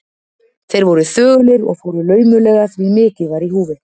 Þeir voru þögulir og fóru laumulega, því mikið var í húfi.